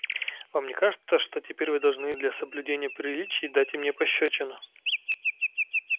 вам не кажется что теперь вы должны для соблюдения приличий дать и мне пощёчину